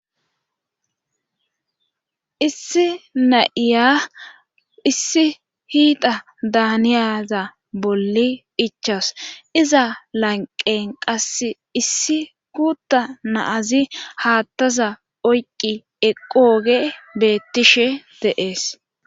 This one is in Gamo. issi na7iya issi hiita daaniyaza bolli ichas iza lanqen qas issi kuutta naazi haattaza oyqi eqooge beettishe de'ees